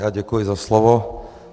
Já děkuji za slovo.